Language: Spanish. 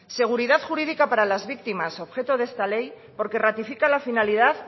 seguridad jurídica para las víctimas objeto de esta ley porque ratifica la finalidad